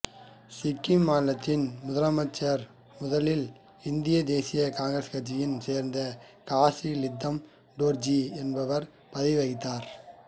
சிக்கிம் மாநிலத்தின் முதலமைச்சராக முதன்முதலில் இந்திய தேசிய காங்கிரசு கட்சியைச் சேர்ந்த காசி லீந்தப் டோர்ஜி என்பவர் பதவி வகித்தார்